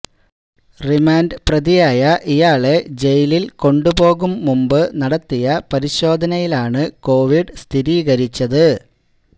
remand പ്രതിയായ ഇയാളെ ജയിലിൽ കൊണ്ടു പോകും മുമ്പ് നടത്തിയ പരിശോധനയിലാണ് കോവിഡ് സ്ഥിരീകരിച്ചത്